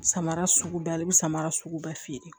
Samara sugu bɛɛ bɛ samara sugu bɛɛ feere